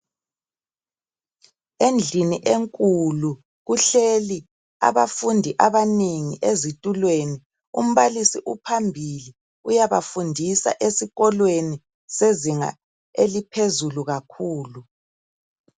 Endlini enkulu, kuhleli abafundi abanengi ezitulweni. Umbalisi uphambili. Uyabafundisa esikolweni, sezinga eliphezulu kakhulu!